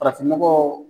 Farafin nɔgɔ